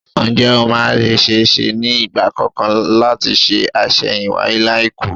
Ǹjé ó máa ṣe-é-ṣe ní ìgbà kankan láti ṣe àṣẹ̀yìnwáyé láìkú?